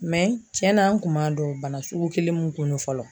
cɛn na an kun m'a dɔn bana sugu kelen mun kun don fɔlɔ